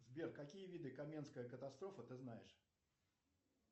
сбер какие виды каменская катастрофа ты знаешь